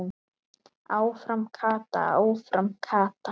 Áfram Kata, áfram Kata!